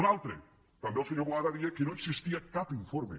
un altre també el senyor boada deia que no existia cap informe